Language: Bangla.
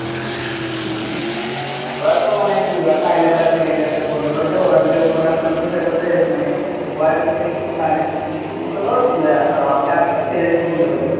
ওরা তো মানে কি ওরা চায় Labor Second এর ভিতরে বন্ধ করে দেয়, ওরা যদি অন্য রাষ্ট্রে যেতে চাইতেছে মানে সাথে কিছু সমস্যা হলো বন্ধ করে দিলো।